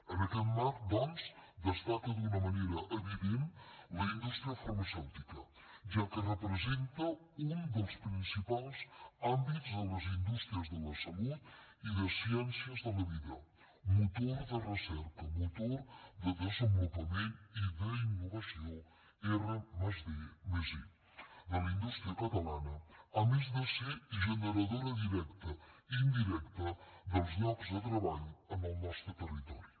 en aquest marc doncs destaca d’una manera evident la indústria farmacèutica ja que representa un dels principals àmbits de les indústries de la salut i de ciències de la vida motor de recerca motor de desenvolupament i d’innovació r+d+i de la indústria catalana a més de ser generadora directa i indirecta dels llocs de treball en el nostre territori